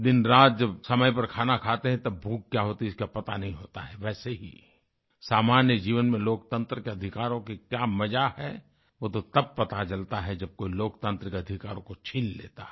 दिनरात जब समय पर खाना खाते हैं तब भूख क्या होती है इसका पता नहीं होता है वैसे ही सामान्य जीवन में लोकतंत्र के अधिकारों की क्या मज़ा है वो तो तब पता चलता है जब कोई लोकतांत्रिक अधिकारों को छीन लेता है